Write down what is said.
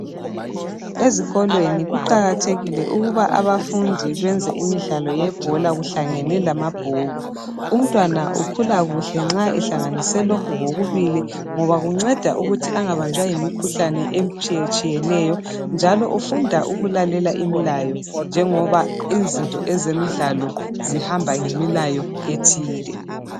Ezikolweni kuqakathekile ukuba abafundi benze imidlalo yebhola kuhlangene lamabhuku. Umntwana ukhula kuhla nxa ehlanganise lokhu kokubili ngoba kunceda ukuthi angabanjwa yimikhuhlane etshiyetshiyeneyo njalo ufunda ukulalela imilayo njengoba izinto zemidlalo zihamba ngemilayo ethile.